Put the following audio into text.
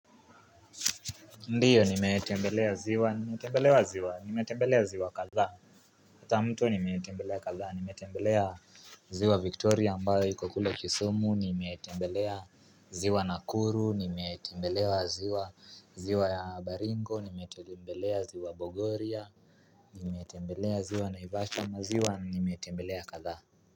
Ndiyo nimetembelea ziwa, nimetembelea ziwa, nimetembelea ziwa kadhaa. Hata mto nimeetembelea kadhaa, nimeetembelea ziwa Victoria mbayo iko kule kisumu, nimeetembelea ziwa Nakuru, nimeetembelea ziwa, ziwa ya Baringo, nimeetembelea ziwa Bogoria. Nimeetembelea ziwa Naivashama ziwa, nimeetembelea kadhaa.